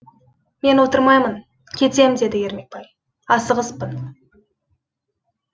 мен отырмаймын кетем деді ермекбай асығыспын